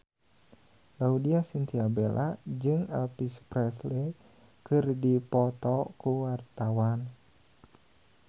Laudya Chintya Bella jeung Elvis Presley keur dipoto ku wartawan